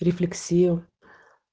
рефлексию